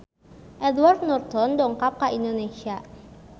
Edward Norton dongkap ka Indonesia